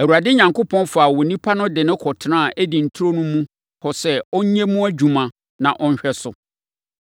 Awurade Onyankopɔn faa onipa no de no kɔtenaa Eden turo mu hɔ sɛ ɔnyɛ mu adwuma, na ɔnhwɛ so.